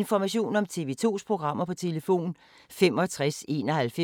(c) Nota, København 2017